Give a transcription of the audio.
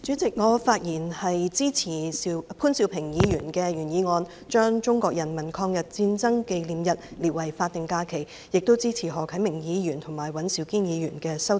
代理主席，我發言支持潘兆平議員的原議案，把中國人民抗日戰爭勝利紀念日列為法定假日，亦支持何啟明議員及尹兆堅議員的修正案。